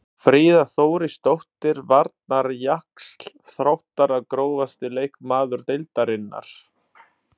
Fríða Þórisdóttir varnarjaxl Þróttara Grófasti leikmaður deildarinnar?